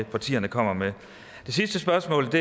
partierne kommer med er det sidste spørgsmål